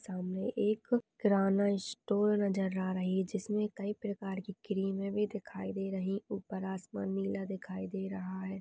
सामने एक किराना स्टोर नजर आ रही है जिसमें कई प्रकार की क्रीमें भी दिखाई दे रही ऊपर आसमान नीला दिखाई दे रहा है।